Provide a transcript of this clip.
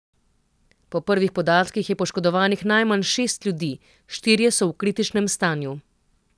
Po prvih podatkih je poškodovanih najmanj šest ljudi, štirje so v kritičnem stanju.